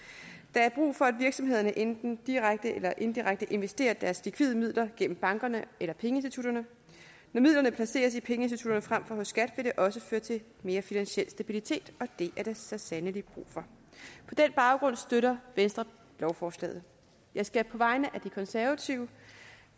der er brug for at virksomhederne enten direkte eller indirekte investerer deres likvide midler gennem bankerne eller pengeinstitutterne når midlerne placeres i pengeinstitutterne frem for hos skat vil det også føre til mere finansiel stabilitet og det er der så sandelig brug for på den baggrund støtter venstre lovforslaget jeg skal på vegne af det konservative